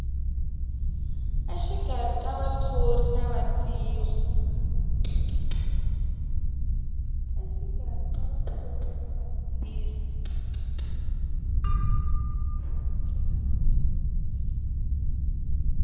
exikarhi ka vathori na vatirhi